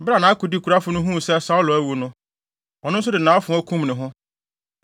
Bere a nʼakodekurafo no huu sɛ Saulo awu no, ɔno nso de nʼafoa kum ne ho.